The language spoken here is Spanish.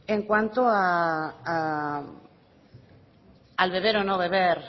en cuanto al beber o no beber